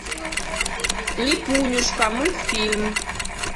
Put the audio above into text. липунюшка мультфильм